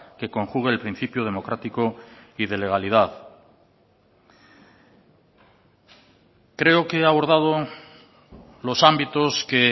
que conjugue el principio democrático y de legalidad creo que he abordado los ámbitos que